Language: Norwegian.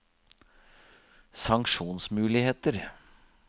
sanksjonsmuligheter